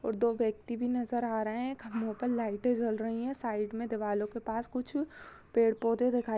और दो व्यक्ति भी नज़र आ रहे है खम्बों पर लाइटे जल रही है साइड में दिवालो के पास कुछ पेड़ पोधे दिखाई--